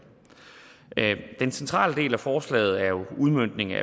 den centrale del af forslaget er jo udmøntningen af